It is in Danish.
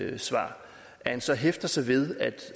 altså at han så hæfter sig ved